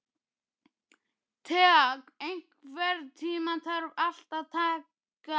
Thea, einhvern tímann þarf allt að taka enda.